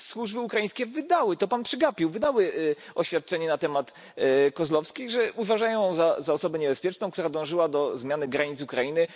Służby ukraińskie wydały to Pan przegapił oświadczenie na temat Kozłowskiej, że uważają ją za osobę niebezpieczną, która dążyła do zmiany granic Ukrainy.